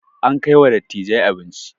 An kai wa dattijai abinci